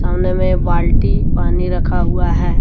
सामने में बाल्टी पानी रखा हुआ है।